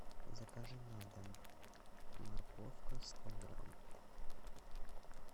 закажи на дом морковка сто грамм